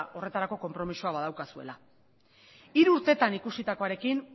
horretarako konpromisoa badaukazuela hiru urtetan ikusitakoarekin